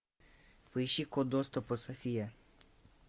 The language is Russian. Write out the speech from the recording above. поищи код доступа софия